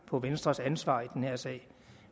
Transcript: på venstres ansvar i den her sag